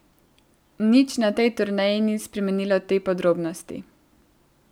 Nič na tej turneji ni spremenilo te podrobnosti.